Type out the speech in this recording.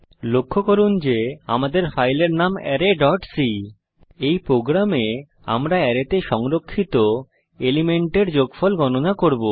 লক্ষ্য করুন আমাদের ফাইলের নাম arrayসি এই প্রোগ্রামে আমরা অ্যারেতে সংরক্ষিত এলিমেন্টের যোগফল গণনা করব